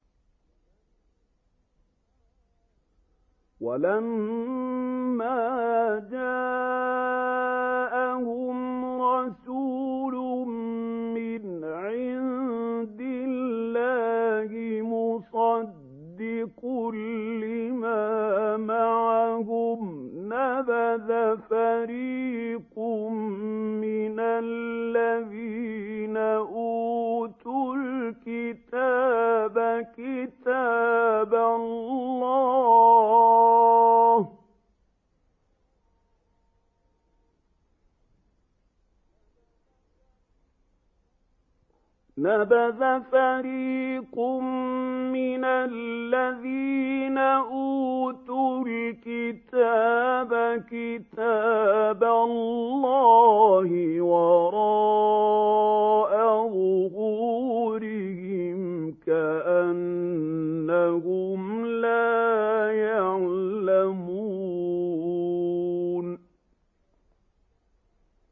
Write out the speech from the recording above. وَلَمَّا جَاءَهُمْ رَسُولٌ مِّنْ عِندِ اللَّهِ مُصَدِّقٌ لِّمَا مَعَهُمْ نَبَذَ فَرِيقٌ مِّنَ الَّذِينَ أُوتُوا الْكِتَابَ كِتَابَ اللَّهِ وَرَاءَ ظُهُورِهِمْ كَأَنَّهُمْ لَا يَعْلَمُونَ